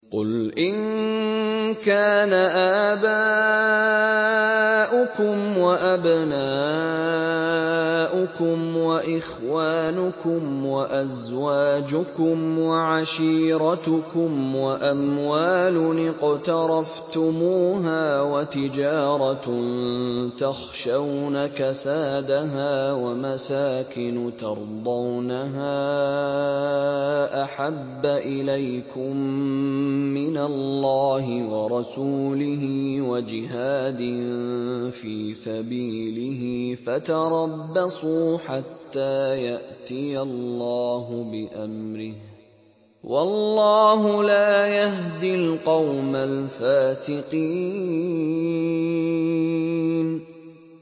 قُلْ إِن كَانَ آبَاؤُكُمْ وَأَبْنَاؤُكُمْ وَإِخْوَانُكُمْ وَأَزْوَاجُكُمْ وَعَشِيرَتُكُمْ وَأَمْوَالٌ اقْتَرَفْتُمُوهَا وَتِجَارَةٌ تَخْشَوْنَ كَسَادَهَا وَمَسَاكِنُ تَرْضَوْنَهَا أَحَبَّ إِلَيْكُم مِّنَ اللَّهِ وَرَسُولِهِ وَجِهَادٍ فِي سَبِيلِهِ فَتَرَبَّصُوا حَتَّىٰ يَأْتِيَ اللَّهُ بِأَمْرِهِ ۗ وَاللَّهُ لَا يَهْدِي الْقَوْمَ الْفَاسِقِينَ